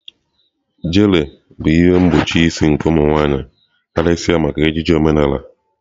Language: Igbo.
Gele bụ ihe mgbochi isi nke ụmụ nwaanyị karịsịa maka ejiji omenala.